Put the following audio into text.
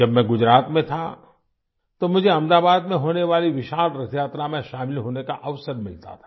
जब मैं गुजरात में था तो मुझे अहमदाबाद में होने वाली विशाल रथयात्रा में शामिल होने का अवसर मिलता था